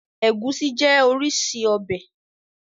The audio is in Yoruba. Ẹgùsí jẹ́ orísìí ọbẹ̀.